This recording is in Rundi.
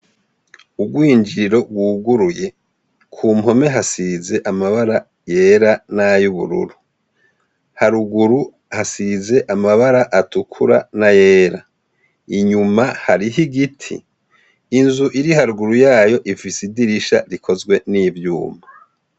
Urwinjiriro rwuguruye, kumpombe hasiz' amabara yera nay' ubururu , haruguru hasiz' amabar' atukura na yera, inyuma harih' igiti, inz' iriharuguru yay' ifis' idirisha rikozwe n' ivyuma.